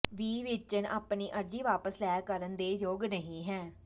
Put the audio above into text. ਵੀ ਵੇਚਣ ਆਪਣੀ ਅਰਜ਼ੀ ਵਾਪਸ ਲੈ ਕਰਨ ਦੇ ਯੋਗ ਨਹੀ ਹੈ